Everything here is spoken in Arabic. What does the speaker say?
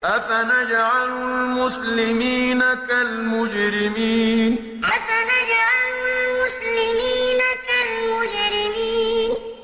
أَفَنَجْعَلُ الْمُسْلِمِينَ كَالْمُجْرِمِينَ أَفَنَجْعَلُ الْمُسْلِمِينَ كَالْمُجْرِمِينَ